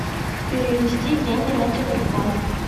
перевести деньги на телефон